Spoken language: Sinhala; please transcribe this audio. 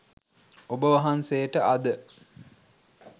ඔබ වහන්සේට අද